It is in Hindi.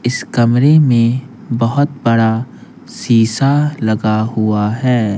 इस कमरे में बहुत बड़ा शीशा लगा हुआ है।